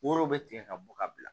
Woro be tigɛ ka bɔ ka bila